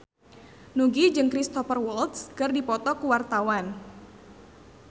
Nugie jeung Cristhoper Waltz keur dipoto ku wartawan